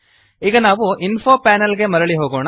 ಈಗ ನಾವು info panel ಗೆ ಮರಳಿ ಹೋಗೋಣ